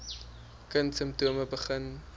kind simptome begin